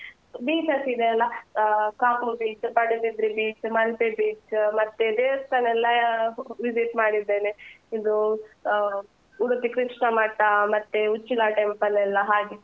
beaches ಇದೆ ಅಲ್ಲ ಆ Kapu beach , Padubidri beach , Malpe beach ಮತ್ತೆ ದೇವಸ್ಥಾನ ಎಲ್ಲಾ visit ಮಾಡಿದ್ದೇನೆ ಇದೂ ಆ ಉಡುಪಿ ಕೃಷ್ಣ ಮಠ, ಮತ್ತೆ ಉಚ್ಚಿಲ temple ಲೆಲ್ಲ ಹಾಗೆ.